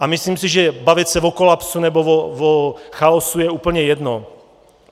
A myslím si, že bavit se o kolapsu, nebo o chaosu, je úplně jedno.